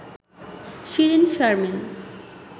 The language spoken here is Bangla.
শিরিন শারমিন